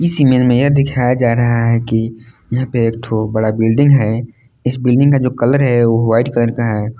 यह दिखाया जा रहा है कि यहां पर एक ठो बड़ा बिल्डिंग है इस बिल्डिंग का जो कलर है वाइट कलर का है।